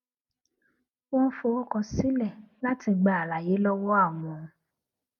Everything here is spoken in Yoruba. wón forúkọ sílè láti gba àlàyé lówó àwọn